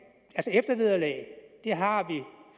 eftervederlag har